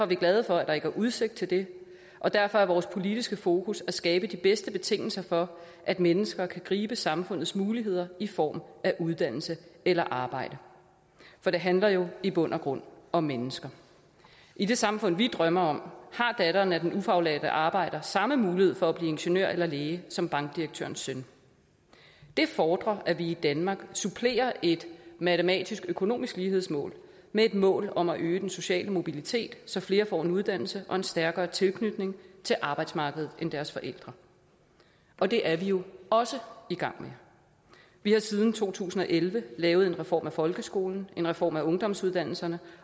vi glade for at der ikke er udsigt til det og derfor er vores politiske fokus at skabe de bedste betingelser for at mennesker kan gribe samfundets muligheder i form af uddannelse eller arbejde for det handler jo i bund og grund om mennesker i det samfund vi drømmer om har datteren af den ufaglærte arbejder samme mulighed for at blive ingeniør eller læge som bankdirektørens søn det fordrer at vi i danmark supplerer et matematisk økonomisk lighedsmål med et mål om at øge den sociale mobilitet så flere får en uddannelse og en stærkere tilknytning til arbejdsmarkedet end deres forældre og det er vi jo også i gang med vi har siden to tusind og elleve lavet en reform af folkeskolen og en reform af ungdomsuddannelserne